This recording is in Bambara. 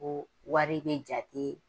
O wari ni jate